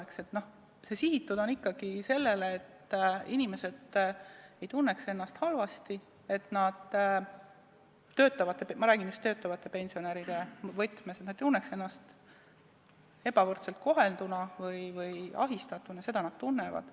See on sihitud ikkagi sellele, et inimesed ei tunneks ennast halvasti , et nad ei tunneks ennast ebavõrdselt kohelduna või ahistatuna, sest seda nad tunnevad.